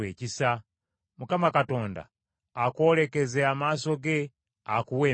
Mukama Katonda akwolekeze amaaso ge akuwe emirembe.’